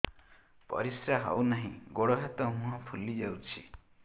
ପରିସ୍ରା ହଉ ନାହିଁ ଗୋଡ଼ ହାତ ମୁହଁ ଫୁଲି ଯାଉଛି